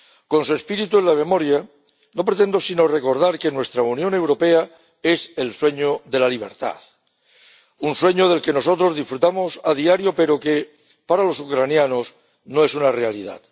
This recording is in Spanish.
Con su espíritu en la memoria, no pretendo sino recordar que nuestra Unión Europea es el sueño de la libertad, un sueño del que nosotros disfrutamos a diario, pero que para los ucranianos no es una realidad.